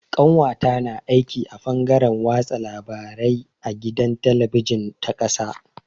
Ƙawata na aiki a fangaren watsa labarai a gidan talabijin ta ƙasa.